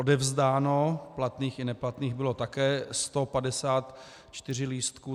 Odevzdáno platných i neplatných bylo také 154 lístků.